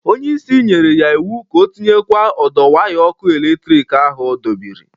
Onye isi nyere ya iwu ka ọ tinyekwa ọdọ waya ọkụ eletrik ahụ ọ dọbịrị!